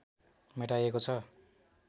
मेटाइएको छ